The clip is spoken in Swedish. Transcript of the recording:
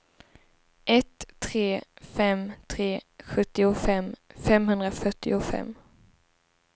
ett tre fem tre sjuttiofem femhundrafyrtiofem